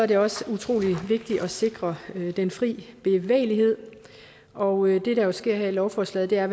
det også utrolig vigtigt at sikre den fri bevægelighed og det der sker her lovforslaget er